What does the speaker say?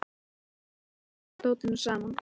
Hann byrjar að púsla dótinu saman.